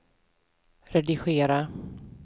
redigera